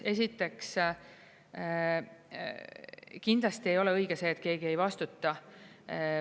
Esiteks, kindlasti ei ole õige see, et keegi ei vastuta.